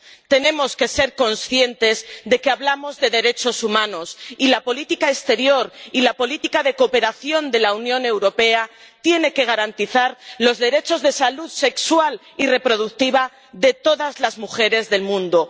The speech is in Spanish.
Tenemos que ser conscientes de que hablamos de derechos humanos, y la política exterior y la política de cooperación de la Unión Europea tienen que garantizar los derechos de salud sexual y reproductiva de todas las mujeres del mundo.